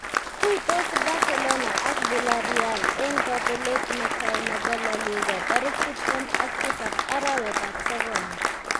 Tuitos Barcelona ak Villarreal eng kobelet netai nebo La Liga tarik tiptem ak tisab arawetab sokol.